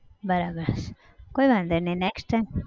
બરાબર કોઈ વાંધો નહિ next time